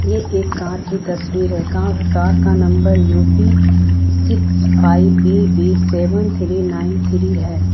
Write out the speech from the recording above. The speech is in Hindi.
ये एक कार की तस्वीर है कार का number U P six five B B seven three nine three है।